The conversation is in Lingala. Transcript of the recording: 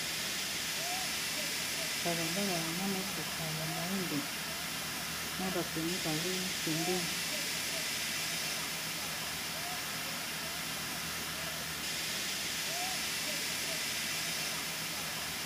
Balabala na motuka ya moindo na bato mibale pembeni.